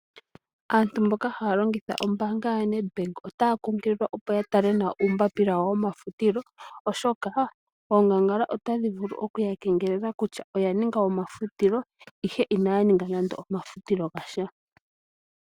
Aantu mboka haya longitha ombaanga ya NedBank otaya kunkililwa opo ya tale nawa uumbapila wawo womafutilo. Oshoka oongangala ota dhi vulu oku ya kengelela kutya oya ninga omafutilo ihe inaya ninga nande omafutilo ga sha.